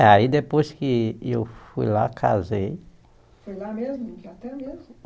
É, aí depois que eu fui lá, casei. Foi lá mesmo mesmo